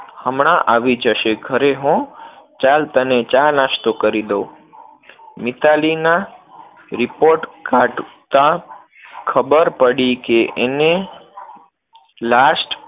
હમણાં આવી જશે ઘરે હો, ચાલ તને ચા-નાસ્તો કરી દવ. મિતાલીના report કાઢતા ખબર પડી કે એને last